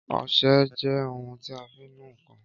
Ọsẹ jẹ́ ohun tí a fi ń nu ǹkan